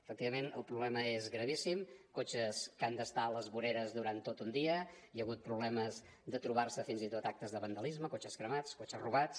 efectivament el problema és gravíssim cotxes que han d’estar a les voreres durant tot un dia hi ha hagut problemes de trobar se fins i tot actes de vandalisme cotxes cremats cotxes robats